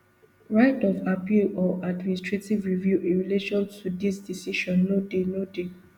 right of appeal or administrative review in relation to dis decision no dey no dey